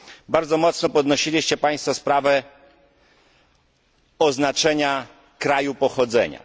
Bardzo mocno podnosiliście Państwo sprawę oznaczenia kraju pochodzenia.